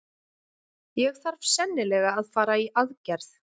Ég þarf sennilega að fara í aðgerð.